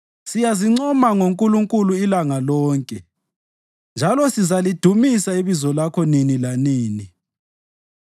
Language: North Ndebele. Siyazincoma ngoNkulunkulu ilanga lonke, njalo sizalidumisa ibizo lakho nini lanini.